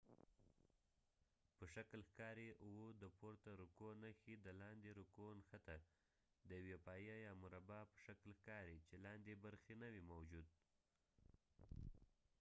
د پورته رکوع نښې د v په شکل ښکاري او د لاندې رکوع نښته د یوې پایې یا مربع په شکل ښکاري چې لاندې برخه نه وي موجود